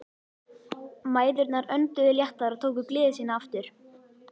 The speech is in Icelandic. Mæðurnar önduðu léttar og tóku gleði sína aftur.